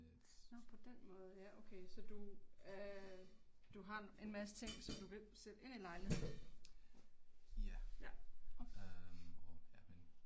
Nå på den måde ja okay. Så du øh, du har en masse ting som du kan sætte ind i lejligheden? Ja, okay